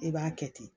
I b'a kɛ ten